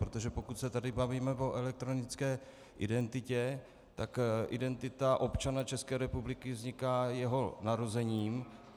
Protože pokud se tady bavíme o elektronické identitě, tak identita občana České republiky vzniká jeho narozením.